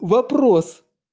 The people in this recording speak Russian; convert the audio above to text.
вопрос